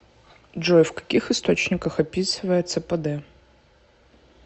джой в каких источниках описывается пд